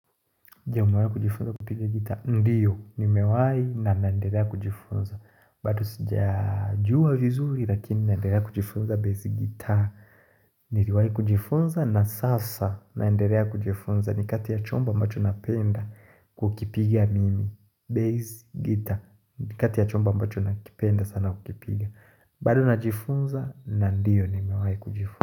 Je umewai kujifunza kupiga gitaa, ndiyo nimewai na naendelea kujifunza bado sijajua vizuri lakini naendelea kujifunza bass guitar Ndiyo nimewai kujifunza na sasa naendelea kujifunza ni kati ya chomba ambacho napenda kukipiga mimi Bass guitar, ni kati ya chomba ambacho nakipenda sana kukipiga bado najifunza na ndiyo nimewai kujifunza.